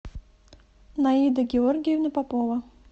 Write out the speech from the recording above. наида георгиевна попова